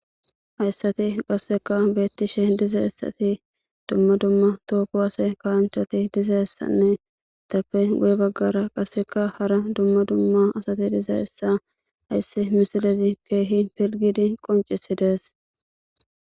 Hayssati qasseka beettishe diza essati dumma dumma tookowase kaanchati diza hessanne dappe guye baggara qasseka hara dumma dumma asati diza issa hayssi misilezi keehi pilgidi qoncisi dees.